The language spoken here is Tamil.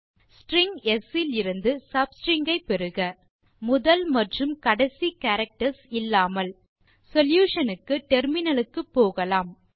ஸ்ட்ரிங் ஸ் இலிருந்து obtain the sub string excluding the first and last characters solution க்கு டெர்மினல் க்கு போகலாம்